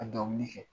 Ka dɔnkili kɛ